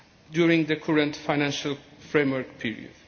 during the current financial framework period.